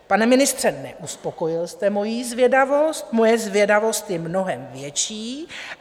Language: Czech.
Pane ministře, neuspokojil jste mojí zvědavost, moje zvědavost je mnohem větší.